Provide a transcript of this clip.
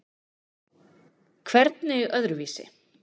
Hvernig öðruvísi?